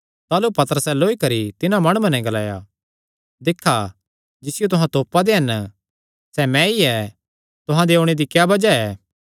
ताह़लू पतरसैं लौई करी तिन्हां माणुआं नैं ग्लाया दिक्खा जिसियो तुहां तोपा दे हन सैह़ मैंई ऐ तुहां दे ओणे दी क्या बज़ाह ऐ